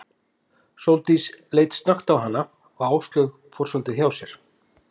Sóldís leit snöggt á hana og Áslaug fór svolítið hjá sér.